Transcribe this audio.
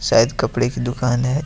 शायद कपड़े की दुकान है।